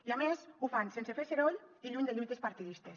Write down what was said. i a més ho fan sense fer soroll i lluny de lluites partidistes